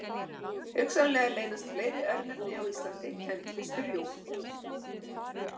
Hugsanlega leynast fleiri örnefni á Íslandi kennd við strjúg.